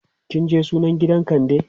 kinje sunan gidan kande?